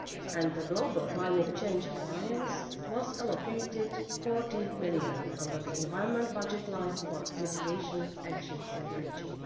And the Global Climate Change Alliance was allocated EUR 14 million under the Environment budget line for mitigation actions in the region.